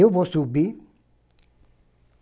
Eu vou subir.